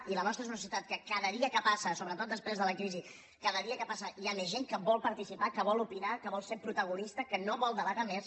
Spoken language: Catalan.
i la nostra és una societat que cada dia que passa sobretot després de la crisi cada dia que passa hi ha més gent que vol participar que vol opinar que vol ser protagonista que no vol delegar més